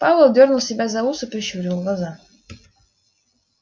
пауэлл дёрнул себя за ус и прищурил глаза